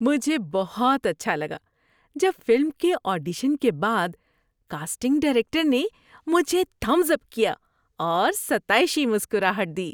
مجھے بہت اچھا لگا جب فلم کے آڈیشن کے بعد کاسٹنگ ڈائریکٹر نے مجھے تھمبس اپ کیا اور ستائشی مسکراہٹ دی۔